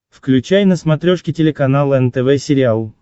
включай на смотрешке телеканал нтв сериал